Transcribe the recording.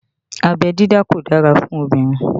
Abẹ́ dídá kò dára fún obìnrin